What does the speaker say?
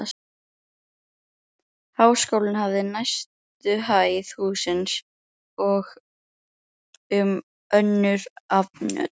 Háskólinn hafði neðstu hæð hússins og um önnur afnot